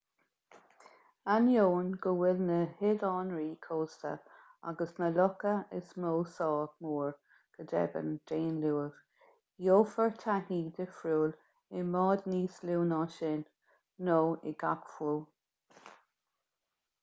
ainneoin go bhfuil na hoileánraí cósta agus na locha is mó sách mór go deimhin d'aon luamh gheofar taithí dhifriúil i mbáid níos lú na sin nó i gcadhc fiú